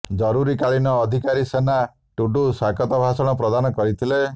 ଜରୁରୀକାଳିନ ଅଧିକାରୀ ସୋନା ଟୁଡୁ ସ୍ୱାଗତ ଭାଷଣ ପ୍ରଦାନ କରିଥିଲେ